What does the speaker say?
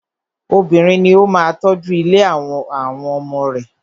Obìnrin ní o máà tọ́ju ilé àtí àwọn ọmọ.